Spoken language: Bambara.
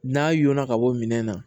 N'a y'o na ka bɔ minɛn na